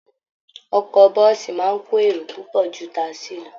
Ọkọ bọ́ọ̀sì máa ń kó èrò púpọ̀ ju ti tasí lọ